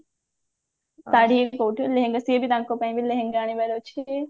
ଲେହେଙ୍ଗା ସିଏ ବି ତାଙ୍କପାଇଁ ବି ଲେହେଙ୍ଗା ଆଣିବାର ଅଛି